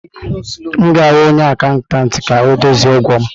M ga-ahụ onye akatantị ka ọ dozie ụgwọ m.